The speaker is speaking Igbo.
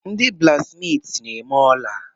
Ndị blaksmiiti na-eme ola.